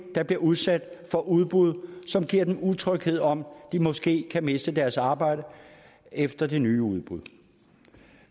der bliver udsat for udbud som giver utryghed om de måske kan miste deres arbejde efter det nye udbud